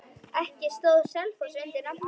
Ekki stóð Selfoss undir nafni.